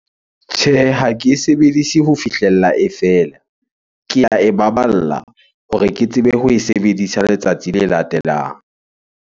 Tjhehe, ha ke e sebedise ho fihlella e fela. Ke ae baballa hore ke tsebe ho e sebedisa letsatsi le latelang.